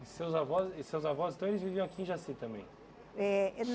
E seus avós e seus avós então eles viviam aqui em Jaci também? Eh